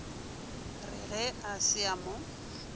re ga se a mo